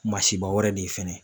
masiba wɛrɛ de ye fɛnɛ.